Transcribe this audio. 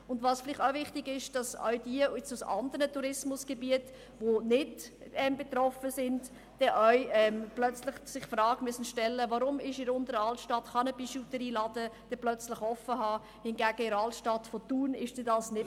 Zudem ist es wichtig zu berücksichtigen, dass sich für andere Tourismusgebiete dann die Frage stellt, warum in der Berner Altstadt eine Bijouterie den Laden öffnen kann, aber in der Altstadt von Thun nicht.